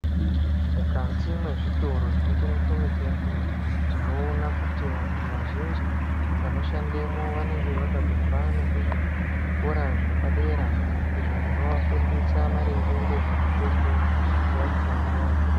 Mukati mwezvitoro munotengese mitombo tinoona kuti vantu vazhinji vanoshandemwo vanenge vakatobva nekuzvikora zvepadera izvo zvinovafundisa maringe ngezvemitombo yakhona.